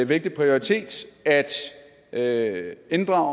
vigtig prioritet at inddrage